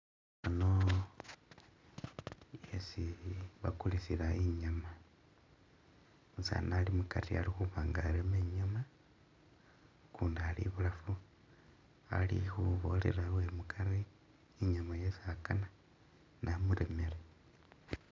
Ano yesili bakulisila inyama, umusaani ali mukari ali khuba nga areme nyama, ukundi ali bulaafu ali khubolela uwemukari i'nyuma yesi akana namuremele